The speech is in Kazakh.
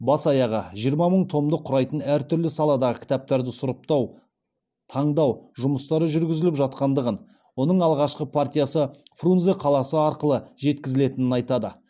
бас аяғы жиырма мың томды құрайтын әр түрлі саладағы кітаптарды сұрыптау таңдау жұмыстары жүргізіліп жатқандығын оның алғашқы партиясы фрунзе қаласы арқылы жеткізілетінін айтады